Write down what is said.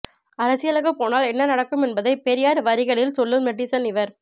அரசியலுக்குப் போனால் என்ன நடக்கும் என்பதை பெரியார் வரிகளில் சொல்லும் நெட்டிசன் இவர்